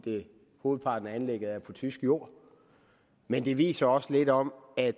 hovedparten af anlægget er på tysk jord men det viser også lidt om at